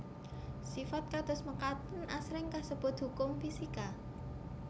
Sifat kados mekaten asring kasebut hukum fisika